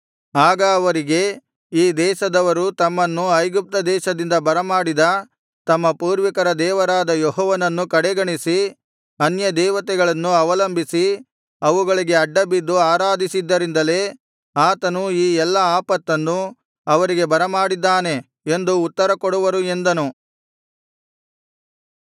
ಆಗ ಅವರಿಗೆ ಈ ದೇಶದವರು ತಮ್ಮನ್ನು ಐಗುಪ್ತ ದೇಶದಿಂದ ಬರಮಾಡಿದ ತಮ್ಮ ಪೂರ್ವಿಕರ ದೇವರಾದ ಯೆಹೋವನನ್ನು ಕಡೆಗಣಿಸಿ ಅನ್ಯ ದೇವತೆಗಳನ್ನು ಅವಲಂಬಿಸಿ ಅವುಗಳಿಗೆ ಅಡ್ಡಬಿದ್ದು ಆರಾಧಿಸಿದ್ದರಿಂದಲೇ ಆತನು ಈ ಎಲ್ಲಾ ಆಪತ್ತನ್ನು ಅವರಿಗೆ ಬರಮಾಡಿದ್ದಾನೆ ಎಂದು ಉತ್ತರ ಕೊಡುವರು ಎಂದನು